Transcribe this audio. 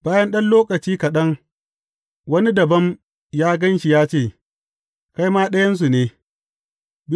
Bayan ɗan lokaci kaɗan, wani dabam ya gan shi ya ce, Kai ma ɗayansu ne.